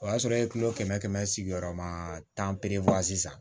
O y'a sɔrɔ e ye kɛmɛ kɛmɛ sigiyɔrɔma tan sisan